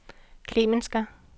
Klemensker